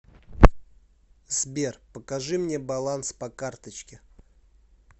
сбер покажи мне баланс по карточке